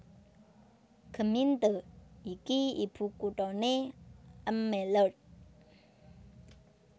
Gemeente iki ibu kuthané Emmeloord